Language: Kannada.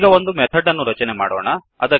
ಈಗ ಒಂದು ಮೆಥಡ್ ಅನ್ನು ರಚನೆ ಮಾಡೋಣ